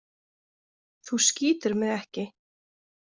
Þú skýtur mig ekki.